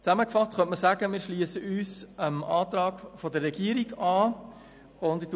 Zusammengefasst könnte man sagen, dass wir uns dem Antrag der Regierung anschliessen.